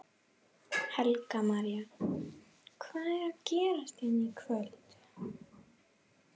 Helga María: Hvað er að gerast hérna í kvöld?